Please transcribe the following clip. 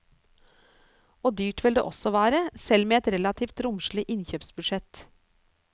Og dyrt vil det også være, selv med et relativt romslig innkjøpsbudsjett.